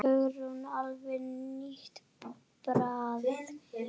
Hugrún: Alveg nýtt bragð?